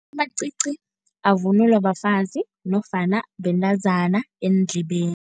Amacici avunulwa bafazi nofana bentazana eendlebeni.